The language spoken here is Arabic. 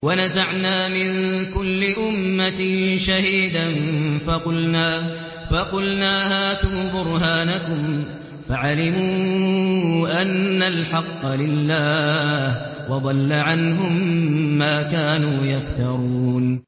وَنَزَعْنَا مِن كُلِّ أُمَّةٍ شَهِيدًا فَقُلْنَا هَاتُوا بُرْهَانَكُمْ فَعَلِمُوا أَنَّ الْحَقَّ لِلَّهِ وَضَلَّ عَنْهُم مَّا كَانُوا يَفْتَرُونَ